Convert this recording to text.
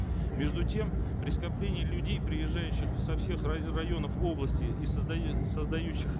между тем при скоплении людей приезжающих со всех районов области и создающих